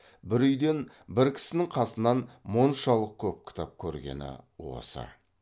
бір үйден бір кісінің қасынан мұншалық көп кітап көргені осы